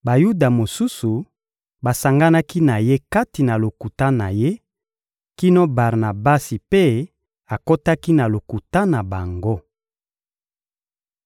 Bayuda mosusu basanganaki na ye kati na lokuta na ye kino Barnabasi mpe akotaki na lokuta na bango.